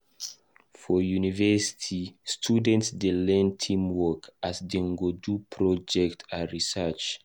For university, students dey learn teamwork as Dem dey do group project and research.